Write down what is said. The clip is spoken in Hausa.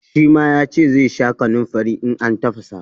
Shi ma ya ce zai sha kanunfari in an tafasa.